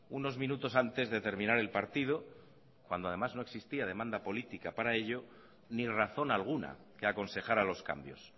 unos minutos antes de terminar el partido cuando además no existía demanda política para ello ni razón alguna que aconsejara los cambios